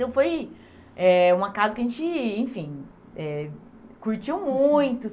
Então foi eh uma casa que a gente, enfim, eh curtiu muito.